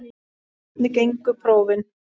En hvernig gengu prófin?